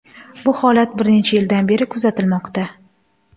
Bu holat bir necha yildan beri kuzatilmoqda.